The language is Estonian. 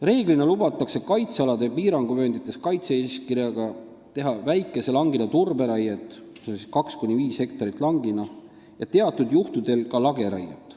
Reeglina lubatakse kaitsealade piiranguvööndites kaitse-eeskirjaga teha väikese langina turberaiet ja teatud juhtudel ka lageraiet.